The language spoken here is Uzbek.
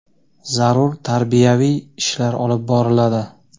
zarur tarbiyaviy ishlar olib boriladi.